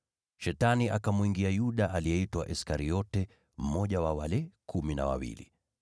Shetani akamwingia Yuda, aliyeitwa Iskariote, mmoja wa wale Kumi na Wawili.